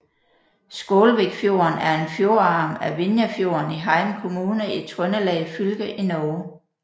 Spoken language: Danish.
Skålvikfjorden er en fjordarm af Vinjefjorden i Heim kommune i Trøndelag fylke i Norge